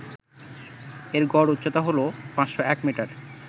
এর গড় উচ্চতা হল ৫০১মিটার